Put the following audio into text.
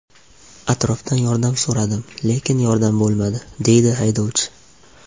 Atrofdan yordam so‘radim, lekin yordam bo‘lmadi”, – deydi haydovchi.